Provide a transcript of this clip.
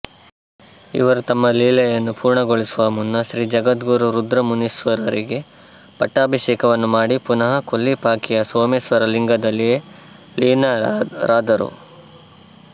ಇವರು ತಮ್ಮ ಲೀಲೆಯನ್ನು ಪೂರ್ಣಗೊಳಿಸುವ ಮುನ್ನ ಶ್ರೀ ಜಗದ್ಗುರು ರುದ್ರಮುನೀಶ್ವರರಿಗೆ ಪಟ್ಟಾಭಿಷೇಕವನ್ನು ಮಾಡಿ ಪುನಃ ಕೊಲ್ಲಿಪಾಕಿಯ ಸೋಮೇಶ್ವರ ಲಿಂಗದಲ್ಲಿಯೇ ಲೀನರಾದರು